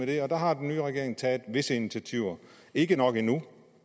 det og der har den nye regering taget visse initiativer ikke nok endnu